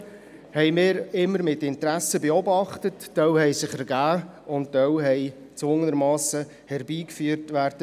Fusionen haben wir immer mit Interesse beobachtet, einige haben sich ergeben, andere mussten gezwungenermassen herbeigeführt werden.